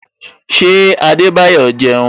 Ṣé Adebayo jẹun?